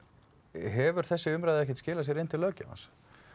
hefur þessi umræða ekkert skilað sér inn til löggjafans